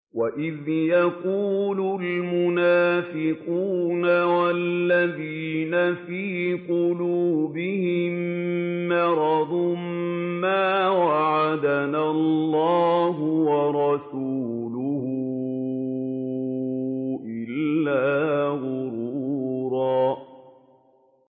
وَإِذْ يَقُولُ الْمُنَافِقُونَ وَالَّذِينَ فِي قُلُوبِهِم مَّرَضٌ مَّا وَعَدَنَا اللَّهُ وَرَسُولُهُ إِلَّا غُرُورًا